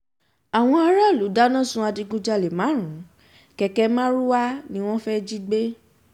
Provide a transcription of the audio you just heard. àwọn aráàlú dáná sun adigunjalè márùn-ún kẹ̀kẹ́ marwa ni wọ́n fẹ́ẹ́ jí gbẹ